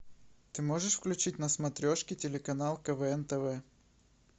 ты можешь включить на смотрешке телеканал квн тв